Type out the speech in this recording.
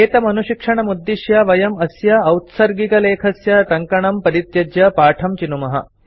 एतमनुशिक्षणमुद्दिश्य वयं अस्य औत्सर्गिकलेखस्य टङ्कणं परित्यज्य पाठं चिनुमः